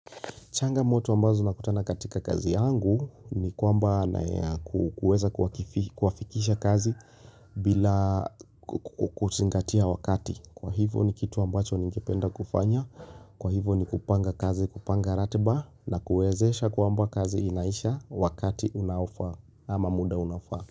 Changa moto ambazo nakutana katika kazi yangu ni kwamba kuweza kuwafikisha kazi bila kuzingatia wakati. Kwa hivyo ni kitu ambacho ningependa kufanya. Kwa hivyo ni kupanga kazi kupanga ratiba na kuwezesha kwamba kazi inaisha wakati unaofaa ama muda unaofaa.